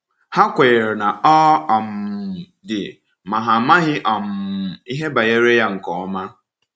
Ha kwenyere na ọ um dị, ma ha amaghị um ihe banyere Ya nke ọma.